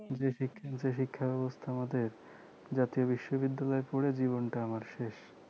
যে শিক্ষা ব্যবস্থা আমাদের জাতীয় বিশ্ববিদ্যালয়ে পড়ে জীবনটাই আমার শেষ